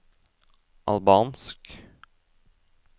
albansk